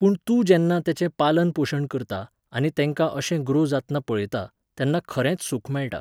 पूण तूं जेन्ना तेंचे पालन पोशण करता, आनी तेंका अशें ग्रो जातना पळयता, तेन्ना खरेंच सूख मेळटा